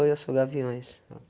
Oi, eu sou gaviões. Ah